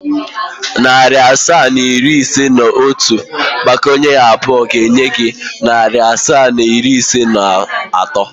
Narị asaa na iri ise na otu agbakọnyere abụọ ga-enye gị narị asaa na iri ise na atọ.